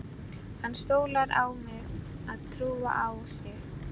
Hann stólar á mig að trúa á sig.